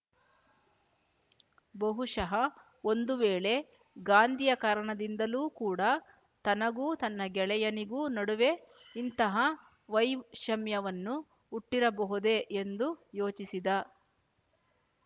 ಬಹುಶಃ ಒಂದು ವೇಳೆ ಗಾಂಧಿಯ ಕಾರಣದಿಂದಲೂ ಕೂಡ ತನಗೂ ತನ್ನ ಗೆಳೆಯನಿಗೂ ನಡುವೆ ಇಂತಹ ವೈಷಮ್ಯವನ್ನು ಹುಟ್ಟಿರಬಹುದೇ ಎಂದು ಯೋಚಿಸಿದ